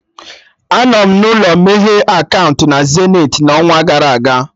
Anọ m n'ụlọ meghe akaụntụ na Zenith n'ọnwa gara aga